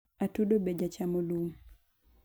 atudo be jachamo lum